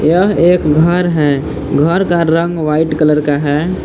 यह एक घर है घर का रंग व्हाइट कलर का है।